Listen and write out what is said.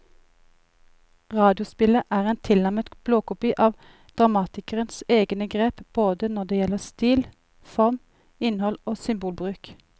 Radiospillet er en tilnærmet blåkopi av dramatikerens egne grep både når det gjelder stil, form, innhold og symbolbruk.